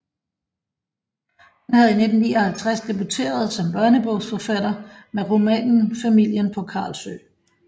Han havde i 1959 debuteret som børnebogsforfatter med romanen Familien på Carlsø